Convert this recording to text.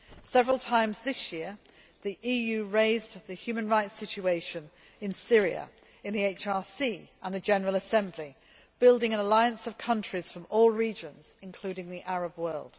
Several times this year the EU raised the human rights situation in Syria, in the HRC and in the General Assembly, building an alliance of countries from all regions, including the Arab world.